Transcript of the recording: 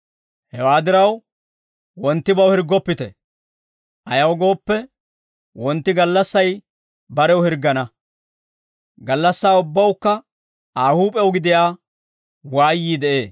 Hewaa diraw, wonttibaw hirggoppite; ayaw gooppe, wontti gallassay barew hirggana; gallassaa ubbawukka Aa huup'ew gidiyaa waayyii de'ee.